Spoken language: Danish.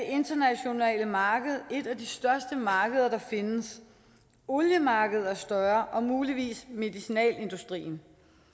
internationale marked et af de største markeder der findes oliemarkedet er større og muligvis medicinalindustrien